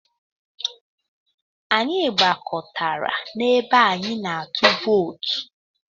Anyị gbakọtara n'ebe anyị na-atụ vootu.